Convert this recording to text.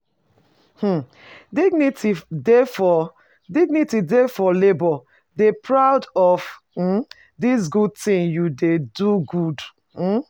um Dignity dey for Dignity dey for labour, dey proud of um di good thing you de good